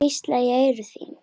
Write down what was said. Hvísla í eyru þín.